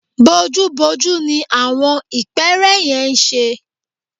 Bojúbojú ní àwọn ìpẹ́ẹ́rẹ́ yẹn ń ṣe